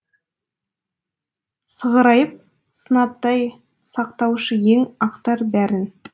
сығырайып сынаптай сақтаушы ең ақтар бәрін